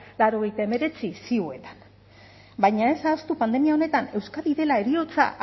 laurogeita hemeretzi ziuetan baina ez ahaztu pandemia honetan euskadi dela heriotza